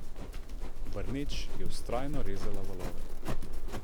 Brneč je vztrajno rezala valove.